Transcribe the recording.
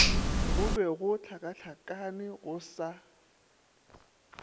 go be gohlakahlakane go sa